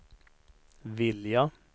vilja